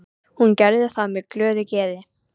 Hún gerði það með glöðu geði.